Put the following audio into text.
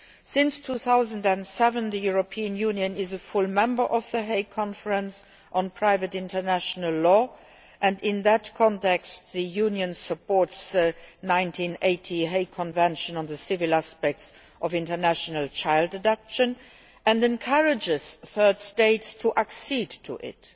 Since 2007 the European Union has been a full member of The Hague Conference on Private International Law and in that context the Union supports the 1980 Hague Convention on the Civil Aspects of International Child Abduction and encourages third states to accede to it.